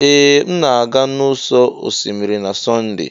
Ee! M na-aga n'ụ̀sọ̀ osimiri na Sọnde.